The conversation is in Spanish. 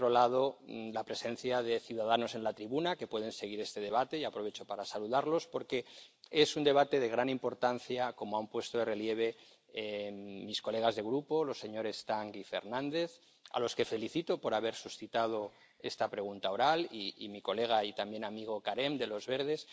por otro lado, la presencia de ciudadanos en la tribuna, que pueden seguir este debate, y aprovecho para saludarlos porque es un debate de gran importancia, como han puesto de relieve mis colegas de grupo, los señores Tang y Fernández —a los que felicito por haber suscitado esta pregunta oral—, y mi colega y también amigo Carême —de los Verdes—,